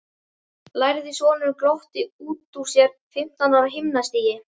læðir sonurinn glottandi út úr sér, fimmtán ára himnastigi.